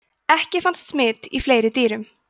ekki fannst smit í fleiri dýrum